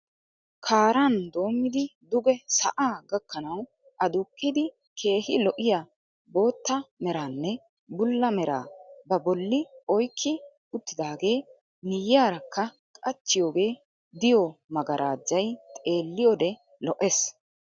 Kaaran doommidi duge sa'aa gakkanawu aduqqidi keehi lo'iya bootta meraanne bulla meraa ba bolli oyikki uttidaagee miyyiyaarakka qachchiyoogee diyoo 'magarajjay' xeelliyoode lo'es.